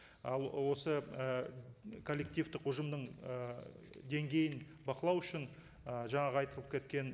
ал осы і коллективтік ұжымның ы деңгейін бақылау үшін ы жаңағы айтылып кеткен